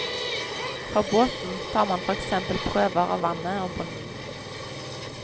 Fra båten tar man for eksempel prøver av vannet og bunnen.